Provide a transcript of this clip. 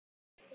Í munni